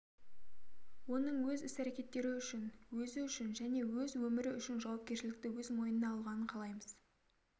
оның өз іс-әрекеттері үшін өзі үшін және өз өмірі үшін жауапкершілікті өз мойнына алғанын қалаймыз